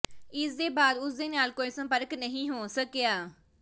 ਇਸ ਦੇ ਬਾਅਦ ਉਸ ਨਾਲ ਕੋਈ ਸੰਪਰਕ ਨਹੀਂ ਹੋ ਸਕਿਆ